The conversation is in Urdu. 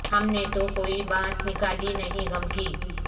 ہم نے تو کوئی بات نکالی نہیں غم کی